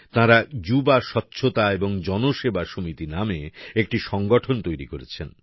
তাঁরা যুবা স্বচ্ছতা এবং জনসেবা সমিতি নামে একটি সংগঠন তৈরি করেছেন